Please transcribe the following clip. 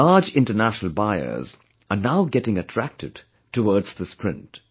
Large international buyers are now getting attracted towards this print